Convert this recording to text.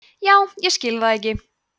já ég skil það ekki